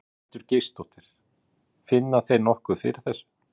Ingveldur Geirsdóttir: Finna þeir nokkuð fyrir þessu?